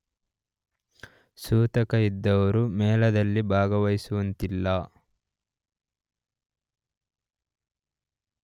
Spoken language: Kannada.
ಸೂತಕವಿದ್ದವರು ಮೇಳದಲ್ಲಿ ಭಾಗವಹಿಸುವಂತಿಲ್ಲ.